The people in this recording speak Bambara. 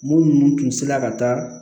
Mun tun sela ka taa